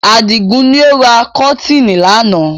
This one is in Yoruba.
Adigun ni ó ra kọ́tiinì náà